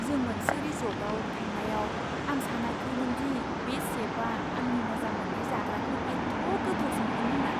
जों मोनसे रिसर्टआव थांनायाव आं सानाखैमोन दि बे शेफआ आंनि मोजां मोन्नाय जाग्राखौ एथ' गोथाव संगोन होन्ना!